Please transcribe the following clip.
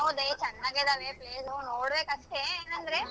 ಹೌದೇ ಚೆನ್ನಾಗಿದಾವೆ ಬೇಗ್ ಹೋಗ್ ನೋಡ್ಬೇಕ್ ಅಷ್ಟೇ ಏನಂದ್ರೆ.